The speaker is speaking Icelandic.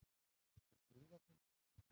Einhver skrúfa, kannski.